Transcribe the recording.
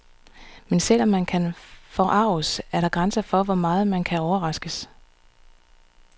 Men selv om man kan forarges, er der grænser for, hvor meget man kan overraskes.